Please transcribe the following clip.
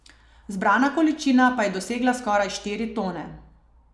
Zbrana količina pa je dosegla skoraj štiri tone.